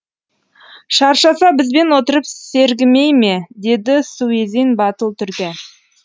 шаршаса бізбен отырып сергімей ме деді суизин батыл түрде